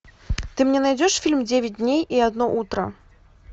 ты мне найдешь фильм девять дней и одно утро